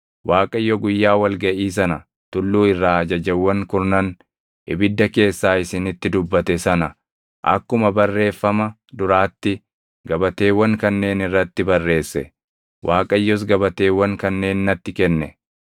Waaqayyo guyyaa wal gaʼii sana tulluu irraa Ajajawwan Kurnan ibidda keessaa isinitti dubbate sana akkuma barreeffama duraatti gabateewwan kanneen irratti barreesse; Waaqayyos gabateewwan kanneen natti kenne.